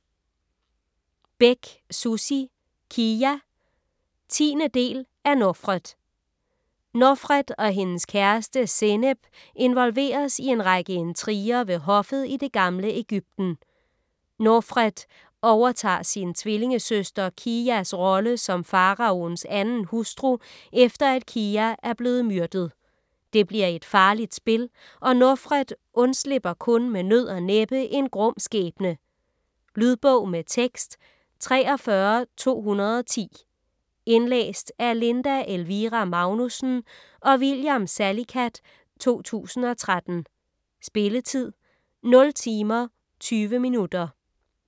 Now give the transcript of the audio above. Bech, Sussi: Kiya 10. del af Nofret. Nofret og hendes kæreste Senep involveres i en række intriger ved hoffet i det gamle Ægypten. Nofret overtager sin tvillingesøster Kiyas rolle som faraoens 2. hustru efter at Kiya er blevet myrdet. Det bliver et farligt spil, og Nofret undslipper kun med nød og næppe en grum skæbne. Lydbog med tekst 43210 Indlæst af Linda Elvira Magnussen og William Salicath, 2013. Spilletid: 0 timer, 20 minutter.